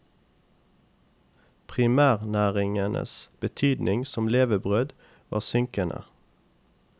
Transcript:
Primærnæringenes betydning som levebrød var synkende.